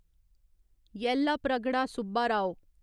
Yellapragada Subbarao